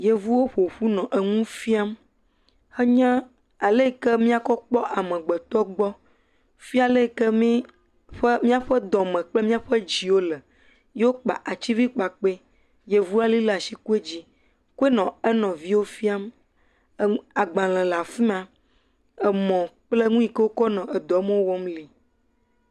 Yevuwo ƒoƒu nɔ nu fiam he nye ale yike mia kɔ kpɔ amegbetɔ gbɔ fia ale yike míaƒe dɔme kple mía dziwo le yewo kpa ativi kpakpe voli ɖe asi kpe dzi, kpe nɔ enɔviawo fiam. Enu, agbalẽ le afima, emɔ kple nu yike Wokɔ nɔ edɔme wɔm li.